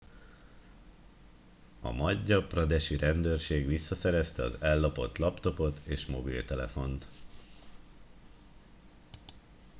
a madhya pradesh i rendőrség visszaszerezte az ellopott laptopot és mobiltelefont